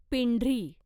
पिंढरी